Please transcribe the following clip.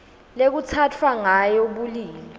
lekutsatfwa ngayo bulili